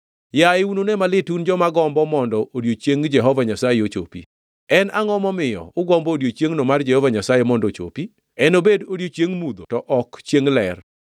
Yaye unune malit un joma gombo mondo odiechieng Jehova Nyasaye ochopi! En angʼo momiyo ugombo odiechiengno mar Jehova Nyasaye mondo ochopi? Enobed chiengʼ mudho to ok chiengʼ ler!